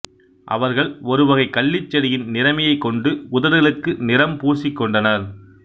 அவர்கள் ஒரு வகைக் கள்ளிச் செடியின் நிறமியைக் கொண்டு உதடுகளுக்கு நிறம் பூசிக்கொண்டனர்